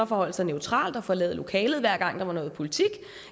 forholde sig neutralt og forlade lokalet hver gang der var noget politisk